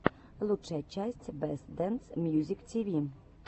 лучшая часть бэст дэнс мьюзик тиви